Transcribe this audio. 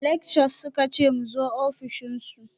Lectures suka ce mu zo ofishin su